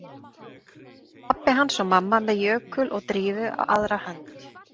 Pabbi hans og mamma með Jökul og Drífu á aðra hönd